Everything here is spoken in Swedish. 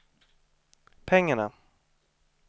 pengarna